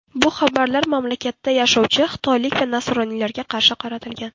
Bu xabarlar mamlakatda yashovchi xitoylik va nasroniylarga qarshi qaratilgan.